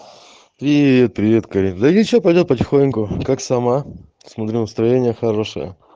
привет привет карин да ничего пойдёт потихоньку как сама смотрю настроение хорошее